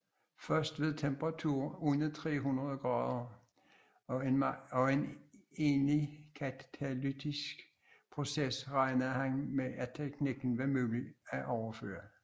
Først ved temperaturer under 300 oC og en egnet katalytisk proces regnede han med at teknikken var mulig at overføre